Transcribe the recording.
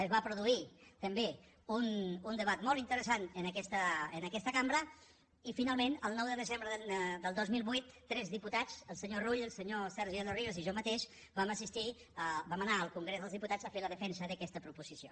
es va produir també un debat molt interessant en aquesta cambra i finalment el nou de desembre del dos mil vuit tres diputats el senyor rull el senyor sergi de los ríos i jo mateix vam anar al congrés dels diputats a fer la defensa d’aquesta proposició